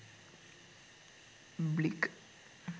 blic